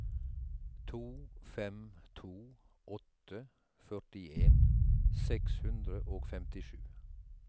to fem to åtte førtien seks hundre og femtisju